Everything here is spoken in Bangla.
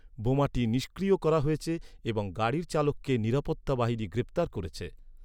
বোমাটি নিষ্ক্রিয় করা হয়েছে এবং গাড়ির চালককে নিরাপত্তা বাহিনী গ্রেপ্তার করেছে।